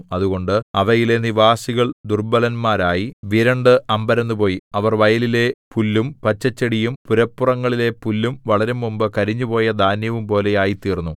അതുകൊണ്ട് അവയിലെ നിവാസികൾ ദുർബ്ബലന്മാരായി വിരണ്ട് അമ്പരന്നുപോയി അവർ വയലിലെ പുല്ലും പച്ചച്ചെടിയും പുരപ്പുറങ്ങളിലെ പുല്ലും വളരുംമുമ്പ് കരിഞ്ഞുപോയ ധാന്യവുംപോലെ ആയിത്തീർന്നു